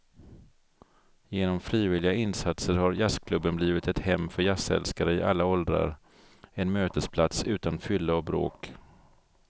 Genom frivilliga insatser har jazzklubben blivit ett hem för jazzälskare i alla åldrar, en mötesplats utan fylla och bråk.